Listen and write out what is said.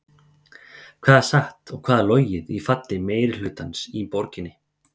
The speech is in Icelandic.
Hvað er satt og hvað er logið í falli meirihlutans í borginni?